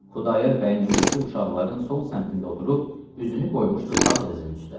Xudayar bəyin övrəti uşaqların son səmtində oturub, üzünü qoymuşdu sağ dizin üstə.